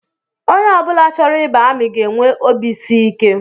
Onye ọ bụla chọrọ ịba amị ga-enwe obisiike